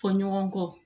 Fɔ ɲɔgɔn kɔ